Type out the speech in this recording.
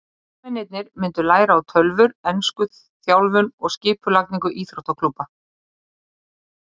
Leikmennirnir myndu læra á tölvur, ensku, þjálfun og skipulagningu íþróttaklúbba.